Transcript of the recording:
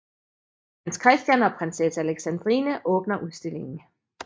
Prins Christian og prinsesse Alexandrine åbner udstillingen